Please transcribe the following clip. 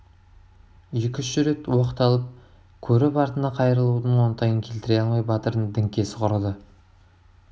екі-үш рет оқталып көріп артына қайрылудың оңтайын келтіре алмай батырдың діңкесі құрыды